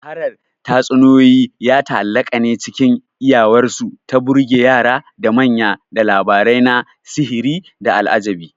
Shaharar tatsuniyoyi ya ta'allaƙa ne cikin iyawarsu ta burge yara da manya da labarai na sihiri da al'ajabi.